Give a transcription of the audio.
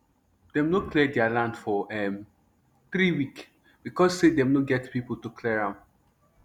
dem nor clear deir land for three week becos say dem nor get pipo to clear am